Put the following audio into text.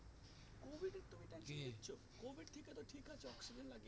covid থেকে তো ঠিক আছে oxygen লাগে